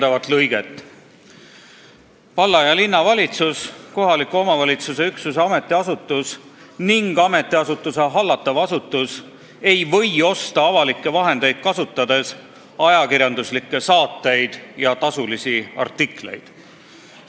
Esiteks, et valla- ja linnavalitsus, kohaliku omavalitsuse üksuse ametiasutus ning ametiasutuse hallatav asutus ei või osta avalikke vahendeid kasutades ajakirjanduslikke saateid ja tasulisi artikleid.